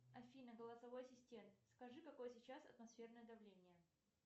афина голосовой ассистент скажи какое сейчас атмосферное давление